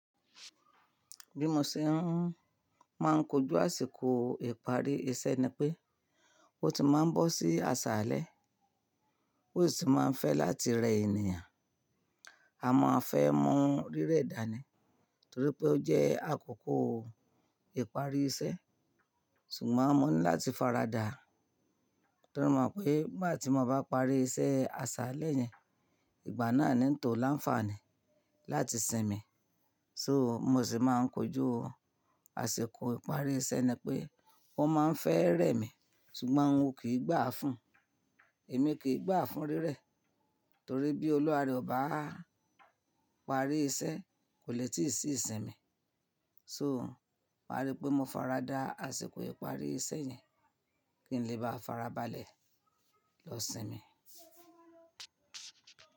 Bí mo ṣe ń máa ń kojú àsìkò ìparí iṣẹ́ ni pé, ó ti máa ń bọ́ sí àsálẹ́, ó sì máa ń fẹ́ láti rẹ ènìyàn. A máa fẹ́ mu rírẹ́ dànì, torí pé ó jẹ́ àkókò ìparí iṣẹ́, ṣùgbọ́n mọ̀ ní láti fara dàa torí mo mọ̀ pé n' gbati mo bá parí iṣẹ́ àsálẹ́ yẹn, ìgbà náà ni ń tò láǹfààní láti sinmi. So, bí mo ṣe máa ń kojú àsìkò ìparí iṣẹ́ ni pé ó má ń fẹ́ rẹ mi ṣùgbọ́n n o kì í gbà fún, èmi kì í gbà fún rírẹ́ torí bí oluwa re ọ ba parí iṣẹ́ kò lè tí ì sí ìsinmi. So ma rí pé mo faradà àsìkò ìparí iṣẹ́ yẹn kí n lè bá farabalẹ̀ lọ sinmi.